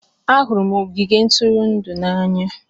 Ahụrụ m ogige ntụrụndụ n'anya.